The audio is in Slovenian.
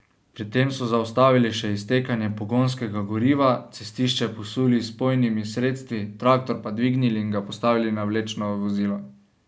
Pri tem so zaustavili še iztekanje pogonskega goriva, cestišče posuli z vpojnimi sredstvi, traktor pa dvignili in ga postavili na vlečno vozilo.